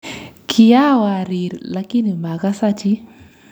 Kiawariir lakini makasa chii